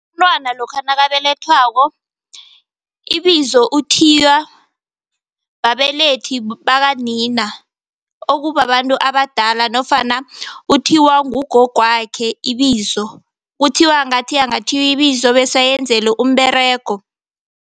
Umntwana lokha nakabelethwako, ibizo uthiywa babelethi bakanina okubabantu abadala nofana uthiywa ngugogwakhe ibizo. Kuthiwa ngathi angathiywa ibizo bese ayenzelwe umberego.